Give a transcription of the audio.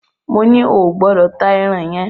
Moní o gbọ́dọ̀ ta ẹran yẹn!